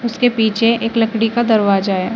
उसके पीछे एक लकड़ी का दरवाजा है।